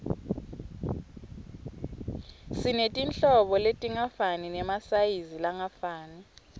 sinetinhlobo letingafani nemasayizi langafani